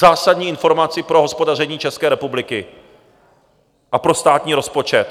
Zásadní informaci pro hospodaření České republiky a pro státní rozpočet?